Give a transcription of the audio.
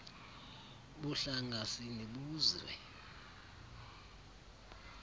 buhlanga sini buzwe